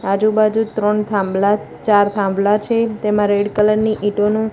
આજુ બાજુ ત્રણ થાંભલા ચાર થાંભલા છે તેમા રેડ કલર ની ઇંટોનુ.